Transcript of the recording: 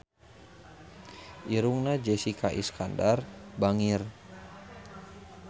Irungna Jessica Iskandar bangir